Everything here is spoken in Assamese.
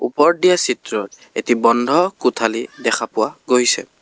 ওপৰত দিয়া চিত্ৰত এটি বন্ধ কোঠালী দেখা পোৱা গৈছে।